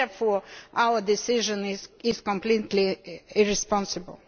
and therefore our decision is completely irresponsible.